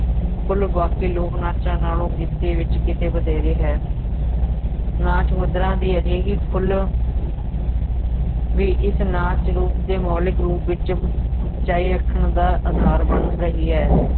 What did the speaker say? ਖੁੱਲ੍ਹ ਬਾਕੀ ਲੋਕ ਨਾਚਾਂ ਨਾਲੋਂ ਗਿਣਤੀ ਵਿਚ ਕਿਤੇ ਵਧੇਰੇ ਹੈ, ਨਾਚ ਮੁਦਰਾ ਦੀ ਅਜਿਹੀ ਖੁੱਲ੍ਹ ਵੀ ਇਸ ਨਾਚ ਰੂਪ ਦੇ ਮੌਲਿਕ ਰੂਪ ਵਿੱਚ ਜਾਰੀ ਰੱਖਣ ਦਾ ਆਧਾਰ ਬਣ ਰਹੀ ਹੈ।